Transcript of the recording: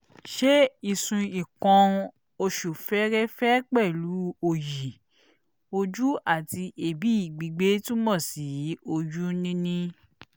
ṣé ìsun nǹkan-oṣù fẹ́ẹ́rẹ́fẹ́ pẹ̀lú òyì-ojú àti èébì gbígbé túmọ̀ sí oyún-níní?